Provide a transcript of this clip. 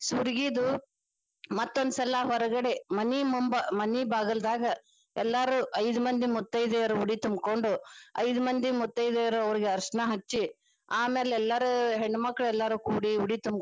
ಸುರ್ಗಿದು ಮತ್ತೊಂದ ಸಲಾ ಹೊರಗಡೆ ಮನಿ ಮುಂಬ ಮನೀ ಬಾಗಲದಾಗ ಎಲ್ಲಾರು ಐದ ಮಂದಿ ಮುತ್ತೈದ್ಯಾರು ಉಡಿ ತುಂಬಕೊಂಡು ಐದ ಮಂದಿ ಮುತ್ತೈದೆಯರು ಅವ್ರಿಗ ಅರಶಣಾ ಹಚ್ಚಿ ಆಮೇಲೆ ಎಲ್ಲರು ಹೆಣ್ಣಮಕ್ಕಳ ಎಲ್ಲಾರು ಕೂಡಿ ಉಡಿ ತುಂಬ್ಕೊಂಡು.